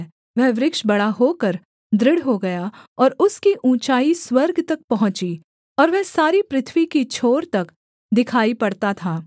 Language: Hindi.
वह वृक्ष बड़ा होकर दृढ़ हो गया और उसकी ऊँचाई स्वर्ग तक पहुँची और वह सारी पृथ्वी की छोर तक दिखाई पड़ता था